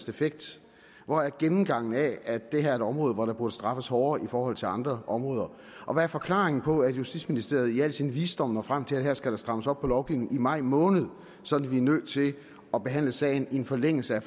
effekt hvor er gennemgangen af at det her er et område hvor der burde straffes hårdere i forhold til andre områder og hvad er forklaringen på at justitsministeriet i al sin visdom når frem til at her skal der strammes op på lovgivningen i maj måned sådan at vi er nødt til at behandle sagen i en forlængelse af